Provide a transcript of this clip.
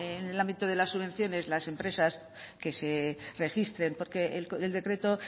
en el ámbito de las subvenciones las empresas que se registren porque el decreto